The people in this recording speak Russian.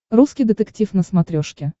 русский детектив на смотрешке